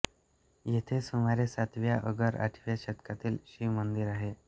येथे सुमारे सातव्या अगर आठव्या शतकातील शिवमंदिर आहे